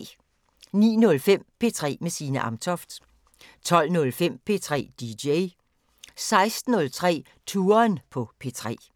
09:05: P3 med Signe Amtoft 12:05: P3 DJ 16:03: Touren på P3